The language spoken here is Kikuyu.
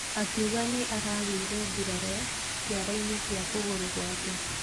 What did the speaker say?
Akiuga nĩ aragĩire nguraro kĩara-inĩ kĩa kũgũrũ gwake.